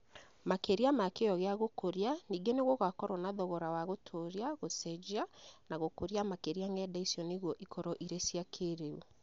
Makĩria ma kĩyo gĩa gũkũria, ningĩ nĩ gũgakorũo na thogora wa gũtũũria, gũcenjia, na gũkũria makĩria ng’enda icio nĩguo ikorũo irĩ ya kĩrĩu.